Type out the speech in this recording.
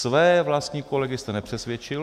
Své vlastní kolegy jste nepřesvědčil.